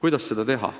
Mida teha?